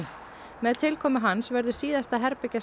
með tilkomu hans verður síðasta